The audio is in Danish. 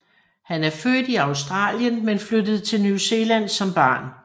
Han er født i Australien men flyttede til New Zealand som barn